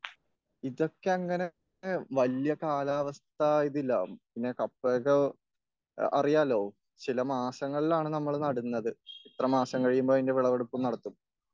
ഇതേക്കങ്ങനെ വല്യ കാലാവസ്ഥ ഇതില്ല.പിന്നെ കപ്പയ്ക്ക അറിയാല്ലോ ചില മാസങ്ങളിലാണ് നമ്മൾ നടുന്നത്.ഇത്ര മാസം കഴിയുമ്പോൾ അതിന്റെ വിളവെടുപ്പും നടത്തും.